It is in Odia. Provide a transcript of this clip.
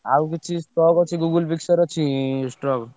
ଆଉ କିଛି strock ଅଛି Google Pixel ଅଛି strock ?